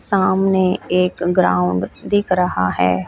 सामने एक ग्राउंड दिख रहा हैं।